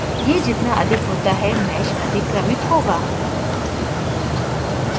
यह जितना अधिक होता है mesh अधिक क्रमिक होगा